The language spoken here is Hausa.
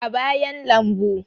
a bayan lambu